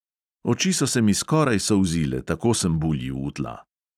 Oči so se mi skoraj solzile, tako sem buljil v tla.